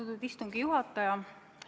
Austatud istungi juhataja!